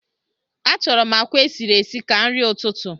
Achọrọ m àkwá esiri esi ka nri ụtụtụ